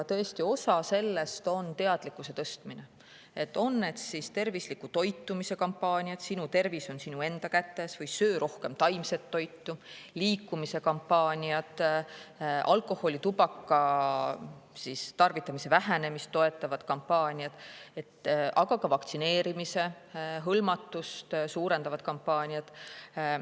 Tõesti, osa sellest on teadlikkuse tõstmine, olgu tervisliku toitumise kampaaniad "Sinu tervis on sinu enda kätes" või "Söö rohkem taimset toitu", liikumise kampaaniad, alkoholi ja tubaka tarvitamise vähenemist toetavad kampaaniad, aga ka vaktsineerimise hõlmatust suurendavad kampaaniad.